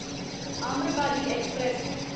Amrapali express